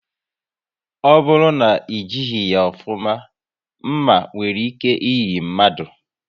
Ọ bụrụ na e jighị ya ofuma, nma nwere ike iyi mmadụ